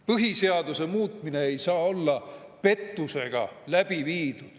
Põhiseaduse muutmine ei saa olla pettusega läbi viidud.